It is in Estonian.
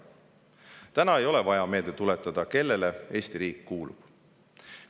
Täna ei ole vaja meelde tuletada, kellele Eesti riik kuulub.